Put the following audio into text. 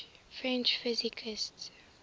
french physicists